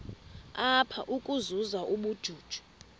apha ukuzuza ubujuju